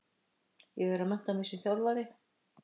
Ég er að mennta mig sem þjálfari.